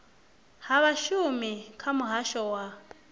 ha vhashumi kha muhasho wa